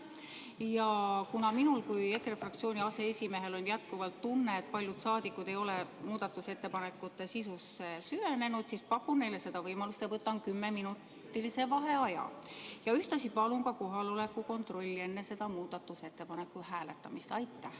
Ja kuna minul kui EKRE fraktsiooni aseesimehel on jätkuvalt tunne, et paljud rahvasaadikud ei ole muudatusettepanekute sisusse süvenenud, siis ma pakun neile seda võimalust ja võtan kümneminutilise vaheaja, ja ühtlasi palun enne selle muudatusettepaneku hääletamist teha kohaloleku kontroll.